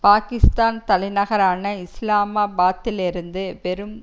பாகிஸ்தான் தலைநகரான இஸ்லாமாபாத்திலிருந்து வெறும்